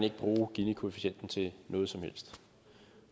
ikke bruge ginikoefficienten til noget som helst